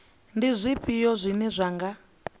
ndi zwifhio zwine zwa nga